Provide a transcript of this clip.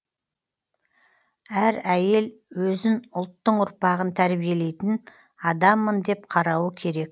әр әйел өзін ұлттың ұрпағын тәрбиелейтін адаммын деп қарауы керек